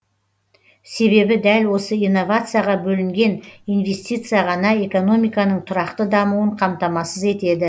себебі дәл осы инновацияға бөлінген инвестиция ғана экономиканың тұрақты дамуын қамтамасыз етеді